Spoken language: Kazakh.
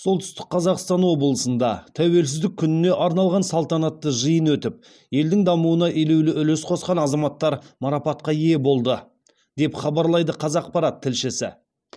солтүстік қазақстан облысында тәуелсіздік күніне арналған салтанатты жиын өтіп елдің дамуына елеулі үлес қосқан азаматтар марапатқа ие болды деп хабарлайды қазақпарат тілшісі